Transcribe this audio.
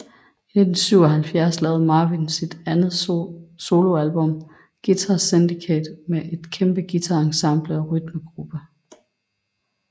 I 1977 lavede Marvin sit andet soloalbum Guitar Syndicate med et kæmpe guitar ensemble og rytmegruppe